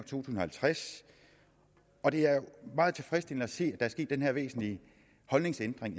tusind og halvtreds og det er meget tilfredsstillende at se at er sket den her væsentlige holdningsændring